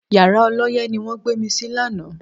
Yàrá ọlọ́yẹ́ ni wọ́n gbé mi sí lánàá